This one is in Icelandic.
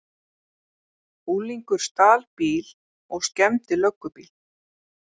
Unglingur stal bíl og skemmdi löggubíl